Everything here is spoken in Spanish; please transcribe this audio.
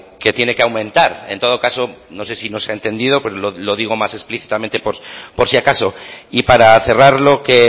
que tiene que aumentar en todo caso no sé si no se ha entendido pero lo digo más explícitamente por si acaso y para cerrar lo que